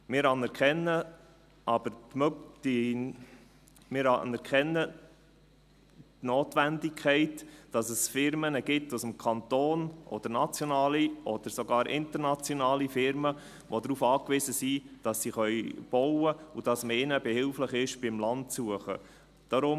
Wir anerkennen die Notwendigkeit, dass es Firmen aus dem Kanton gibt, oder nationale oder sogar internationale Firmen, die darauf angewiesen sind, dass sie bauen können und dass man ihnen beim Land suchen behilflich ist.